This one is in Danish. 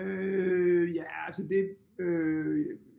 Øh ja altså det øh